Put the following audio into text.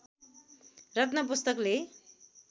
रत्न पुस्तकले